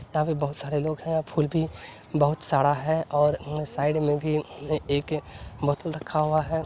यहाँ पे बहोत सारे लोग हैं फूल भी बहुत साडा है और म साइड में भी म एक बोतल रखा हुआ है।